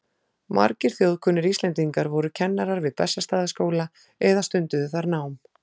Margir þjóðkunnir Íslendingar voru kennarar við Bessastaðaskóla eða stunduðu þar nám.